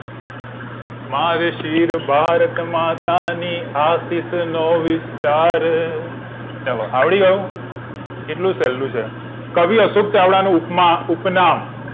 માર શિર ભારત માતા ને આશિષ નો વિસ્તાર ચલો આવડ્યું હવે કેટલું સહેલું છે કવી અશોક ચાવડા નો ઉપમા ઉપનામ